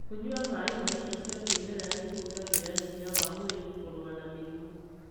Kũnyua maĩ ma indo cia kĩmerera nĩ kũongagĩrĩra hinya wa mwĩrĩ kũrũa na mĩrimũ.